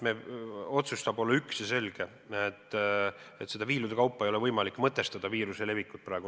Otsus saab olla üks ja selge: viiruse levikut viilude kaupa ei ole võimalik mõtestada.